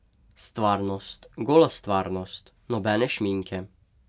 Stvarnost, gola stvarnost, nobene šminke.